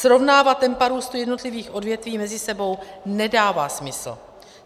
Srovnávat tempa růstu jednotlivých odvětví mezi sebou nedává smysl.